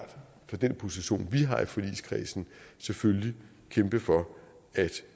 fra den position vi har i forligskredsen selvfølgelig kæmpe for at